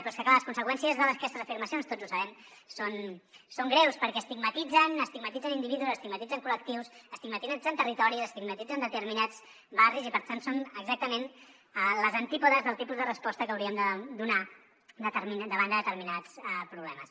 però és que clar les conseqüències d’aquestes afirmacions tots ho sabem són greus perquè estigmatitzen estigmatitzen individus estigmatitzen col·lectius estigmatitzen territoris estigmatitzen determinats barris i per tant són exactament als antípodes del tipus de resposta que hauríem de donar davant de determinats problemes